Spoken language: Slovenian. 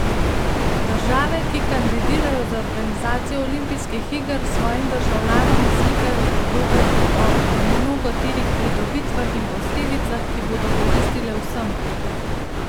Države, ki kandidirajo za organizacijo olimpijskih iger, svojim državljanom slikajo podobe o mnogoterih pridobitvah in posledicah, ki bodo koristile vsem.